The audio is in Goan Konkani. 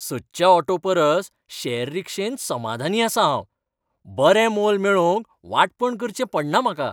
सदच्या ऑटो परस शेअर रीक्षेन समाधानी आसां हांव. बरें मोल मेळोवंक वांटपण करचें पडना म्हाका.